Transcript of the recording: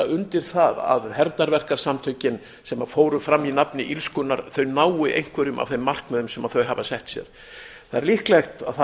undir það að hermdarverkasamtökin sem fóru fram í nafni illskunnar þau nái einhverjum af þeim markmiðum sem þau hafa sett sér það er